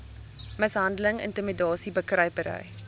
mishandeling intimidasie bekruipery